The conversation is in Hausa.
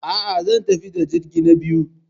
A'a, zan tafi da jirgi na biyu.